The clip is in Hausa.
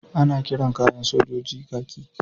Ana kiran kayan sojoji kaki.